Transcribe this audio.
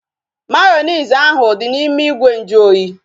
Mayonezi ahu dị n'ime ìgwè nju oyi